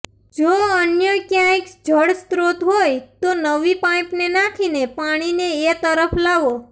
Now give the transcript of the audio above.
જો અન્ય ક્યાંક જળસ્તોત્ર હોય તો નવી પાઈપને નાંખીને પાણીને એ તરફ લાવો